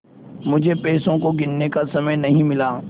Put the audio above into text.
मुझे पैसों को गिनने का समय नहीं मिला